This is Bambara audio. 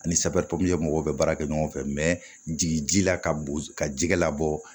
Ani mɔgɔw bɛ baara kɛ ɲɔgɔn fɛ jigin ji la ka jɛgɛ labɔ